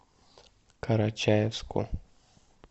карачаевску